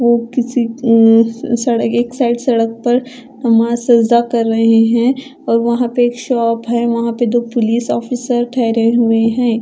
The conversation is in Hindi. वो किसी उम्म सड़क एक साइड सड़क पर नमाज सजदा कर रहे हैं और वहां पे एक शॉप है वहां पे दो पुलिस ऑफिसर ठहरे हुए हैं।